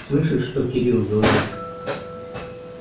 слышишь что кирилл говорит